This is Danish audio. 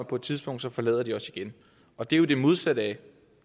på et tidspunkt forlader os igen og det er jo det modsatte af